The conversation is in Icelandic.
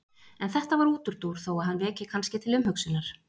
en þetta var útúrdúr þó að hann veki kannski til umhugsunar